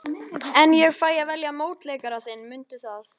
En ég fæ að velja mótleikara þinn, mundu það.